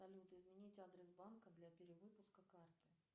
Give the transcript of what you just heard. салют изменить адрес банка для перевыпуска карты